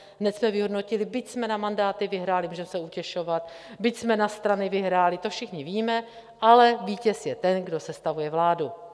Hned jsme vyhodnotili - byť jsme na mandáty vyhráli - můžeme se utěšovat, byť jsme na strany vyhráli, to všichni víme, ale vítěz je ten, kdo sestavuje vládu.